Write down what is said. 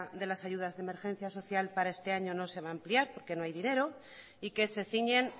de las ayudas de emergencia social para este año no se va a ampliar porque no hay dinero y que se ciñen